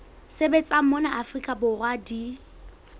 sebetsang mona afrika borwa di